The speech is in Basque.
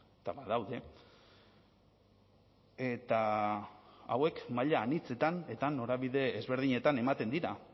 eta badaude eta hauek maila anitzetan eta norabide ezberdinetan ematen dira